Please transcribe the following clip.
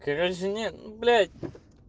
короче нет ну блять